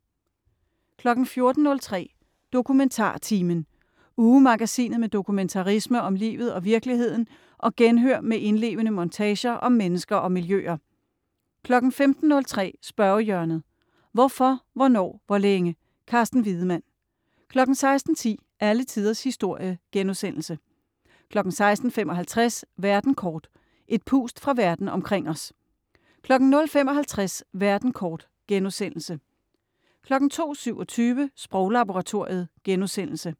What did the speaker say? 14.03 DokumentarTimen. Ugemagasinet med dokumentarisme om livet og virkeligheden og genhør med indlevende montager om mennesker og miljøer 15.03 Spørgehjørnet. Hvorfor, hvornår, hvor længe? Carsten Wiedemann 16.10 Alle tiders historie* 16.55 Verden kort. Et pust fra Verden omkring os 00.55 Verden kort* 02.27 Sproglaboratoriet*